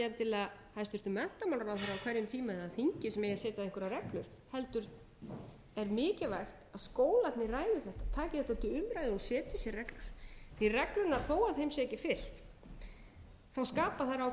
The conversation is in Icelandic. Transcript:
endilega hæstvirtur menntamálaráðherra á hverjum tíma eða þingið sem eigi að setja einhverjar reglur heldur er mikilvægt að skólarnir ræði þetta taki þetta til umræðu og setji sér reglur þó að reglunum sé ekki fylgt skapa þær ákveðin viðmið og